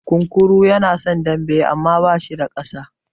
Kunkuru yana son dambe amma ba shi da ƙasa.